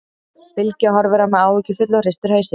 Bylgja horfir á mig áhyggjufull og hristir hausinn.